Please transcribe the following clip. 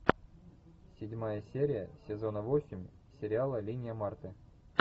седьмая серия сезона восемь сериала линия марты